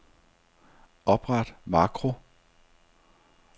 Opret makro.